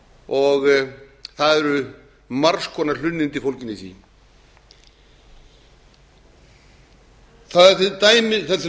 og það eru margs konar hlunnindi fólgin í því það er til